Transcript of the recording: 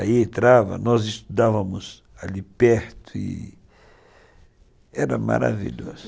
Aí entrava, nós estudávamos ali perto e era maravilhoso.